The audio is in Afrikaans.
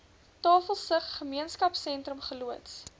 tafelsig gemeenskapsentrum geloods